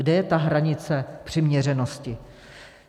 Kde je ta hranice přiměřenosti?